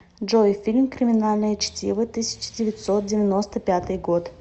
джой фильм криминальное чтиво тысяча девятьсот девяносто пятый год